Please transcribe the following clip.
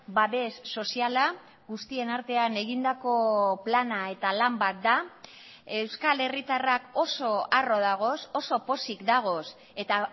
babes soziala guztien artean egindako plana eta lan bat da euskal herritarrak oso harro dagoz oso pozik dagoz eta